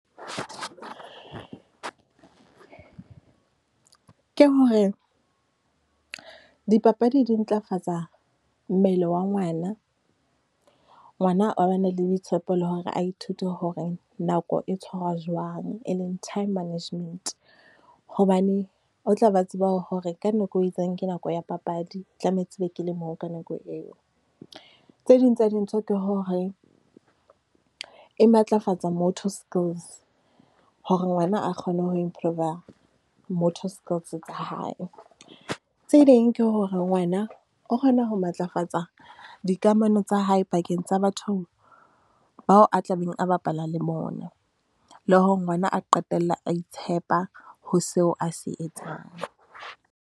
Ke hore dipapadi di ntlafatsa mmele wa ngwana. Ngwana a bane le boitshepo le hore a ithute hore nako e tshwarwa jwang, e leng time management. Hobane o tla be a tseba hore ka nako e itseng ke nako ya papadi, tlametse e be ke le moo ka nako eo. Tse ding tsa dintho ke hore, e matlafatsa moto skills, hore ngwana a kgone ho improver-a moto skills tsa hae. Tse ding ke hore ngwana o kgona ho matlafatsa dikamano tsa hae pakeng tsa batho bao a tlabeng a bapala le bona. Le hore ngwana a qetella a itshepa, ho seo a se etsang.